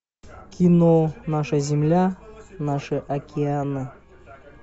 кино наша земля наши океаны